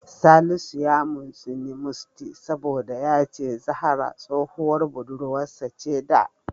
Salisu ya mintsini Musty saboda ya ce Zahra tsohuwar budurwarsa ce da.